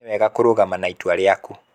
nĩ wega kurũgama ma itua rĩaku